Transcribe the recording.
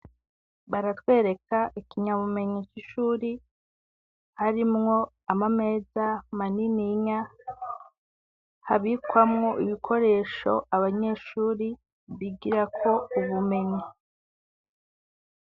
Baratwereka ikinyabumenyi c'ishuri harimwo, Amameza manininya habikwamwo ibikoresho, Abanyeshuri bigirako Ubumenyi.